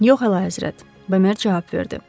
Yox hələ həzrət, Bömer cavab verdi.